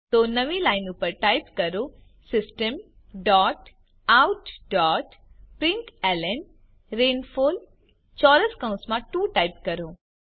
તો નવી લાઈન ઉપર ટાઇપ કરો system dot out dot println rainfall ચોરસ કૌંસમાં 2 ટાઇપ કરો